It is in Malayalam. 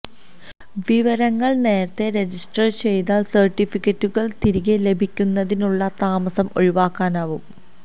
വിവരങ്ങൾ നേരത്തെ റജിസ്റ്റർ ചെയ്താൽ സർട്ടിഫിക്കറ്റുകൾ തിരികെ ലഭിക്കുന്നതിനുള്ള താമസം ഒഴിവാക്കാനാവും